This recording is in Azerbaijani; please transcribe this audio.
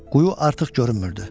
Quyu artıq görünmürdü.